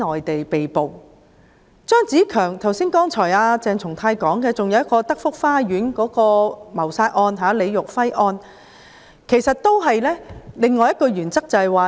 除了張子強案，剛才鄭松泰議員提到德福花園謀殺案——李育輝案，關乎的是另一項原則。